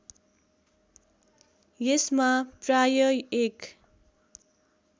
यसमा प्राय एक